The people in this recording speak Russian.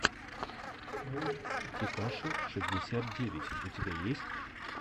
текаши шестьдесят девять у тебя есть